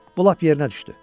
Bu lap yerinə düşdü.